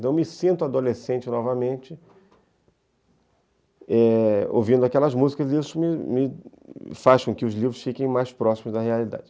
Então, eu me sinto adolescente novamente, é, ouvindo aquelas músicas, e isso me me faz com que os livros fiquem mais próximos da realidade.